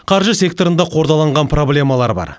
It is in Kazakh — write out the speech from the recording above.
қаржы секторында қордаланған проблемалар бар